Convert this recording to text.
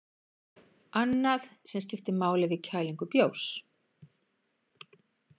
Annað sem skiptir máli við kælingu bjórs.